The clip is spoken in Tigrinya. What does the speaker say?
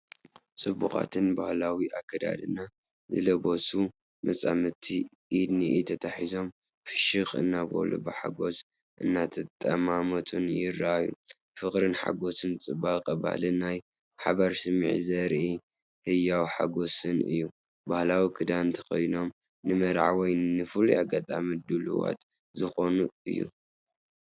ጽቡቓትን ባህላዊ ኣከዳድና ዝለበሱን መጻምድቲ፡ ኢድ ንኢድ ተተሓሒዞም፡ ፍሽኽ እናበሉን ብሓጎስ እናተጠማመቱን ይረኣዩ። ፍቕርን ሓጎስን ጽባቐ ባህልን ናይ ሓባር ስምዒትን ዘርኢ ህያውን ሓጎስን እዩ። ባህላዊ ክዳን ተኸዲኖም፡ ንመርዓ ወይ ንፍሉይ ኣጋጣሚ ድሉዋት ዝኾኑ እዩ።